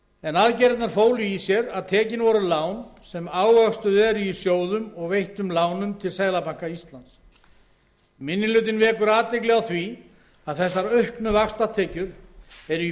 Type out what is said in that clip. en aðgerðirnar fólu í sér að tekin voru lán sem ávöxtuð eru í sjóðum og veittum lánum til seðlabanka íslands minni hlutinn vekur athygli á því að þessar auknu vaxtatekjur eru í